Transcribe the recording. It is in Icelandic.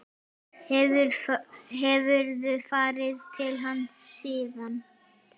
Hefurðu farið til hans síðan?